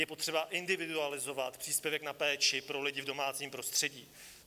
Je potřeba individualizovat příspěvek na péči pro lidi v domácím prostředí.